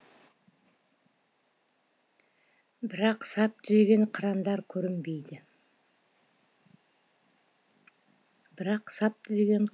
бірақ сап түзеген қырандар көрінбейді